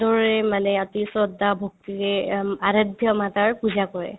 ৰেৰে মানে অতি শ্ৰদ্ধা-ভক্তিৰে অম্ আৰধ্য মাতাৰ পূজা কৰে